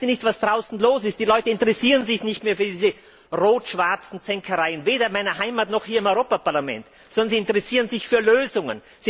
Merkt Ihr nicht, was draußen los ist? Die Leute interessieren sich nicht mehr für diese rot schwarzen Zänkereien, weder in meiner Heimat noch hier im Europäischen Parlament, sondern sie interessieren sich für Lösungen.